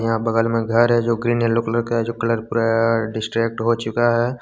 बगल में घर है जो ग्रीन येलो कलर का जो कलर पूरा डिस्ट्रैक हो चुका है।